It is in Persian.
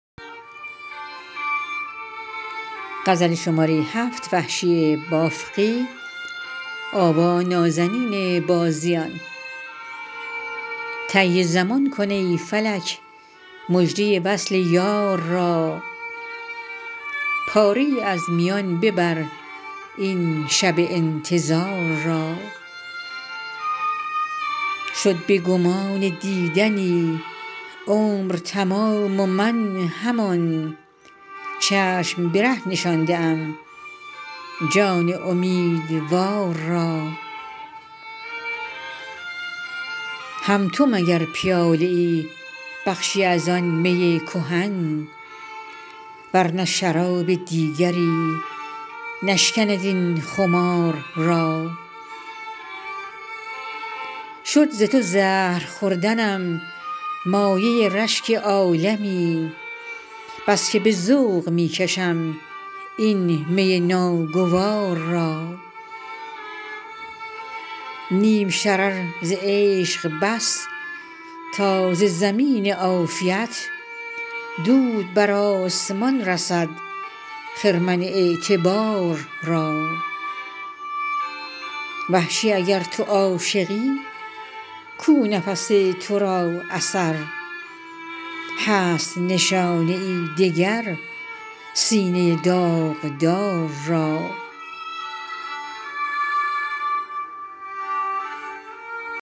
طی زمان کن ای فلک مژده وصل یار را پاره ای از میان ببر این شب انتظار را شد به گمان دیدنی عمر تمام و من همان چشم به ره نشانده ام جان امیدوار را هم تو مگر پیاله ای بخشی از آن می کهن ور نه شراب دیگری نشکند این خمار را شد ز تو زهر خوردنم مایه رشک عالمی بسکه به ذوق می کشم این می ناگوار را نیم شرر ز عشق بس تا ز زمین عافیت دود بر آسمان رسد خرمن اعتبار را وحشی اگر تو عاشقی کو نفس تورا اثر هست نشانه ای دگر سینه داغدار را